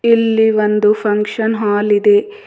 ಇಲ್ಲಿ ಒಂದು function hall ಇದೆ.